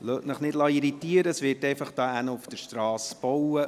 Lassen Sie sich nicht irritieren, neben dem Rathaus wird auf der Strasse gebaut.